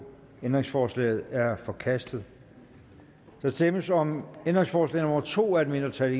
ændringsforslaget er forkastet der stemmes om ændringsforslag nummer to af et mindretal